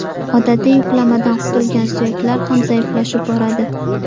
Odatiy yuklamadan qutulgan suyaklar ham zaiflashib boradi.